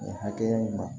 Nin hakɛya in ma